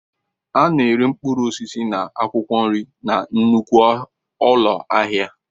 A na-ere mkpụrụ osisi na akwụkwọ nri na nnukwu ụlọ ahịa.